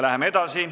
Läheme edasi.